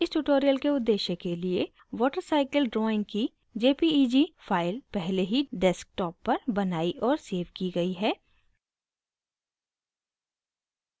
इस tutorial के उद्देश्य के लिए watercycle drawing की jpeg file पहले ही desktop पर बनाई और सेव की गयी है